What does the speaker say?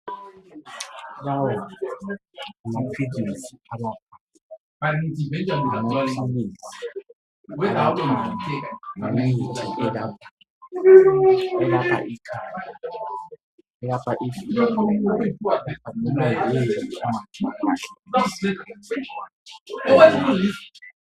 lawo ngamaphilizi alaphayo, yimithi elaphayo, elapha ikhanda, elapha ifiva, elopha lobayini.